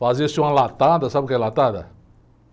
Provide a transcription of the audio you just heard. Fazia-se uma latada, sabe o que é latada?